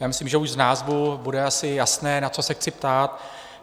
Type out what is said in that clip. Já myslím, že už z názvu bude asi jasné, na co se chci ptát.